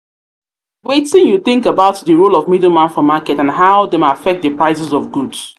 wetin you think about di role of middleman for market and how dem affect di prices of goods?